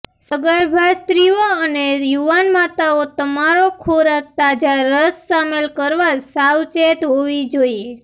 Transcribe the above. સગર્ભા સ્ત્રીઓ અને યુવાન માતાઓ તમારો ખોરાક તાજા રસ શામેલ કરવા સાવચેત હોવી જોઇએ